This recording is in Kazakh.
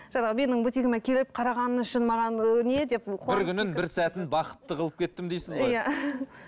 жаңағы менің бутигіме келіп қарағаны үшін маған ы не деп бір күнін бір сәтін бақытты қылып кеттім дейсіз ғой иә